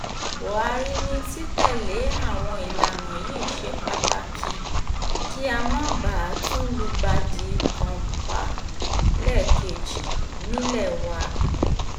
buhari ni títẹ̀lé àwọn ìlànà yìí ṣe pàtàkì kí a má bàa tún lùgbàdì kọ́ńpàlẹ́ẹ̀kejì nílé wa